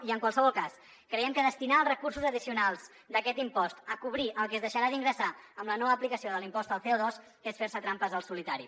i en qualsevol cas creiem que destinar els recursos addicionals d’aquest impost a cobrir el que es deixarà d’ingressar amb la no aplicació de l’impost del cotrampes al solitari